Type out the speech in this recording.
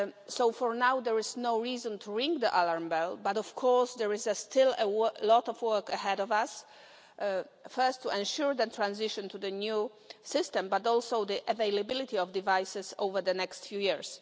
So for now, there is no reason to ring the alarm bell. But of course there is still a lot of work ahead of us first to ensure the transition to the new system but also the availability of devices over the next few years.